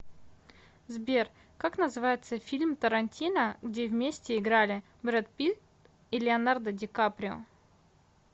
сбер как называется фильм тарантино где вместе играли брэд питт и леонардо ди каприо